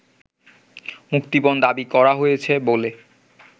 মুক্তিপণ দাবি করা হয়েছে বলে